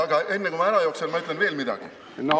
Aga enne kui ma ära jooksen, ma ütlen veel midagi.